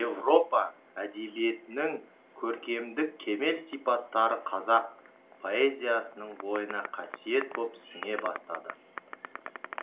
орыс европа әдебиетінің көркемдік кемел сипаттары қазақ поэзиясының бойына қасиет боп сіңе бастады